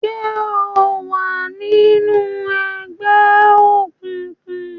ṣe o wá nínú ègbé òkùnkùn?